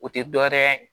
O tɛ dɔ wɛrɛ ye